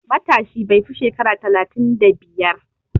Matashi bai fi shekara talatin da biyar.